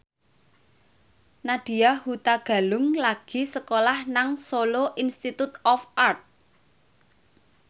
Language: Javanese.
Nadya Hutagalung lagi sekolah nang Solo Institute of Art